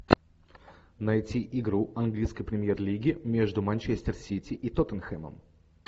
найти игру английской премьер лиги между манчестер сити и тоттенхэмом